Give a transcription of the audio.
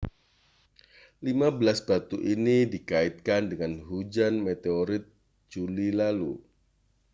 lima belas batu ini dikaitkan dengan hujan meteorit juli lalu